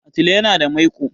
Atile yana da maiƙo.